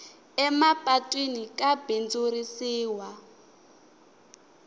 emapatwini ka bindzurisiwa